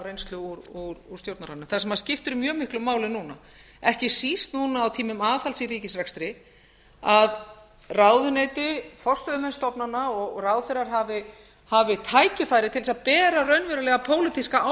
reynslu úr stjórnarráðinu það sem skiptir mjög miklu máli núna ekki síst núna á tímum aðhalds í ríkisrekstri að ráðuneyti forstöðumenn stofnana og ráðherrar hafi tækifæri til þess að bera raunverulega pólitíska